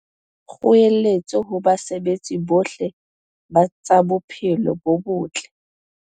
Kgoeletso ho basebeletsi bohle ba tsa bophelo bo botle